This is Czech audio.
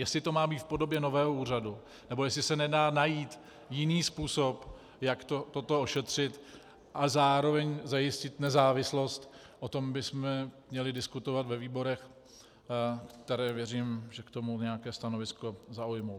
Jestli to má být v podobě nového úřadu, nebo jestli se nedá najít jiný způsob, jak toto ošetřit a zároveň zajistit nezávislost, o tom bychom měli diskutovat ve výborech, které, věřím, že k tomu nějaké stanovisko zaujmou.